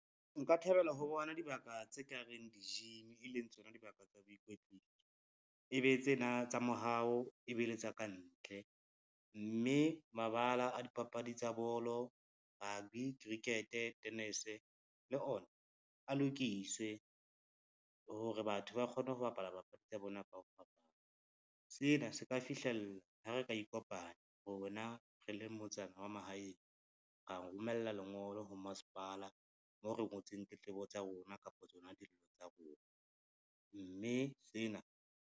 Nka thabela ho bona dibaka tse kareng di-gym, e leng tsona dibaka tsa boikwetliso. Ebe tsena tsa mohao e bele tsa ka ntle, mme mabala a dipapadi tsa bolo, rugby cricket, tenese le ona a lokiswe hore batho ba kgone ho bapala papadi tsa bona ka ho fapana. Sena se ka fihlella ha re ka ikopanya, rona re le motsana wa mahaeng, ra romella lengolo ho masepala mo re ngotseng tletlebo tsa rona kapa tsona dillo tsa rona, mme sena.